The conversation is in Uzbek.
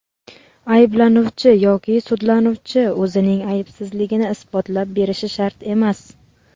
ayblanuvchi yoki sudlanuvchi o‘zining aybsizligini isbotlab berishi shart emas.